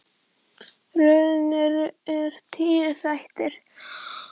Röðin er tíu þættir.